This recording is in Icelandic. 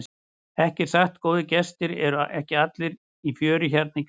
Ekki satt góðir gestir, eru ekki allir í fjöri hérna í garðinum?